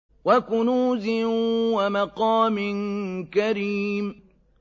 وَكُنُوزٍ وَمَقَامٍ كَرِيمٍ